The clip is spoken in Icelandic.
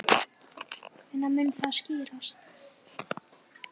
Hvenær mun það skýrast?